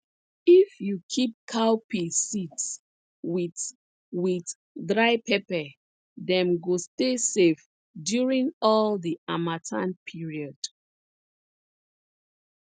if you keep cowpea seeds with with dry pepper dem go stay safe during all the harmattan period